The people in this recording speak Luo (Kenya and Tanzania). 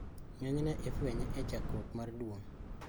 Ng`enyne ifwenye e chakruok mar duong`.